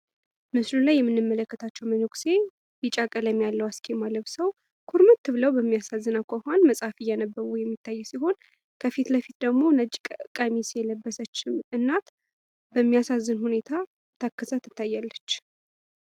በምስሉ ላይ የምንመለከታቸው መነኩሴ ቢጫ ቀለም ያለው አስኬማ ለብሰው፣ ኩርምት ብለው በሚያሳዝን ሁኔታ ኩርምት ብለው መጽሃፍ እያነበቡ ይገኛሉ ። ከፊትለፊት ደግሞ ቀሚስ የለበሰች እናት ነሚያሳዝን ሁኔታ እየተከዘች ትታያለች።